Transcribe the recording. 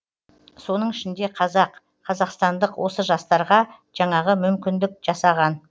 соның ішінде қазақ қазақстандық осы жастарға жаңағы мүмкіндік жасаған